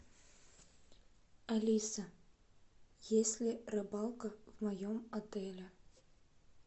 алиса есть ли рыбалка в моем отеле